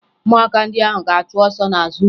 Ụmụaka ndị ahụ ga-achụ ọsọ n'azụ ụlọ